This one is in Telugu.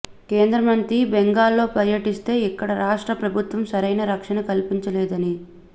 కేంద్ర మంత్రి బెంగాల్లో పర్యటిస్తే ఇక్కడి రాష్ట్ర ప్రభుత్వం సరైన రక్షణ కల్పించలేదని